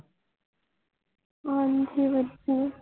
ਹਾਂਜੀ ਵਧੀਆ